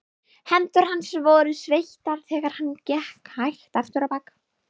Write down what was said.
Hendur hans voru sveittar þegar hann gekk hægt afturábak.